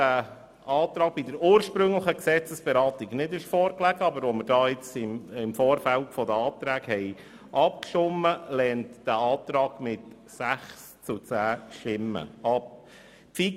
Der Antrag lag während der ursprünglichen Gesetzesberatung nicht vor, aber wir haben im Vorfeld über die Eventualanträge abgestimmt.